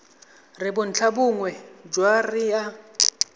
re bontlhabongwe jwa re a